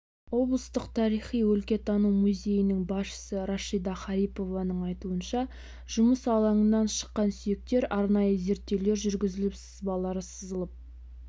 облыстық тариіи-өлкетану музейінің басшысы рашида харипованың айтуынша жұмыс алаңынан шыққан сүйектер арнайы зерттеулер жүргізіліп сызбалары сызылып